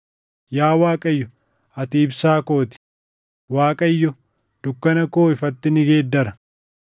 Yaa Waaqayyo, ati ibsaa koo ti; Waaqayyo dukkana koo ifatti ni geeddara.